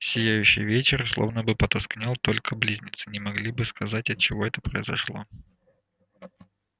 сияющий вечер словно бы потускнел только близнецы не могли бы сказать отчего это произошло